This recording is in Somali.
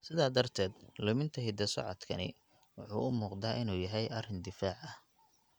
Sidaa darteed, luminta hidda-socodkani wuxuu u muuqdaa inuu yahay arrin difaac ah.